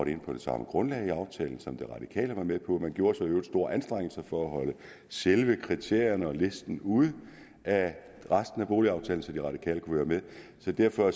ind på det samme grundlag i aftalen som de radikale var med på man gjorde sig i øvrigt store anstrengelser for at holde selve kriterierne og listen ude af resten af boligaftalen så de radikale kunne være med og derfor